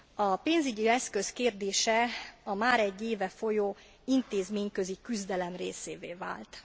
A pénzügyi eszköz kérdése a már egy éve folyó intézményközi küzdelem részévé vált.